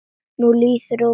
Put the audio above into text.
Nú líður og bíður.